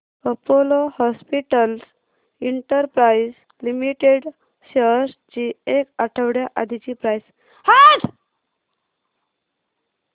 Apollo hospitals enterprise limited shares ची एक आठवड्या आधीची प्राइस